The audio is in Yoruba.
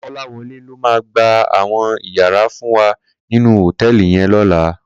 Kolawole ló má gbá áwòn iyàrá fún wá ninú hótèlí yèn lòlá